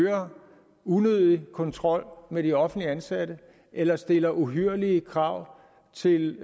øger unødig kontrol med de offentligt ansatte eller stiller uhyrlige krav til